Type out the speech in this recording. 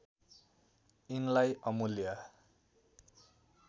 यिनलाई अमूल्य